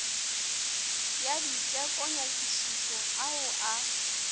ya diteko nyakišišo ao a